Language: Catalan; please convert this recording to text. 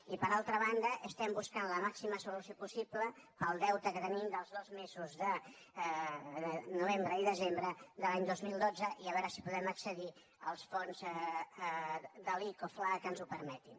i per altra banda estem buscant la màxima solució possible per al deute que tenim dels dos mesos de novembre i desembre de l’any dos mil dotze i a veure si podem accedir als fons de l’ico fla que ens ho permetin